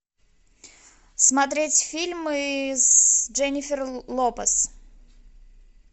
смотреть фильмы с дженнифер лопес